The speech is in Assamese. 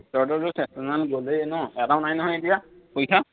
তহঁতৰতো গলেই ন এটাও নাই নহয় এতিয়া পৰীক্ষা